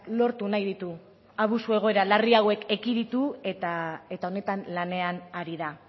lortu nahi ditu abusu egoera larri hauek ekiditu eta honetan lanean ari da